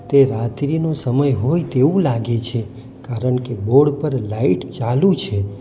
તે રાત્રિનો સમય હોય તેવું લાગે છે કારણ કે બોર્ડ પર લાઈટ ચાલુ છે.